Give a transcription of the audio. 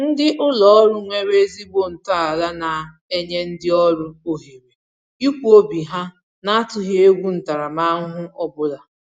Ndị ụlọ ọrụ nwere ezigbo ntọala na-enye ndị ọrụ ohere ikwu obi ha na-atụghị egwu ntaramahụhụ ọbụla